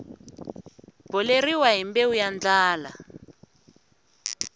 boleriwa hi mbewu ya ndlala